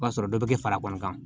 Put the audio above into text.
O b'a sɔrɔ dɔ bɛ kɛ fara kɔni kan